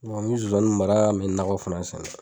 Nɔn mi zonzani mara n me nakɔ fɛnɛ fana sɛnɛ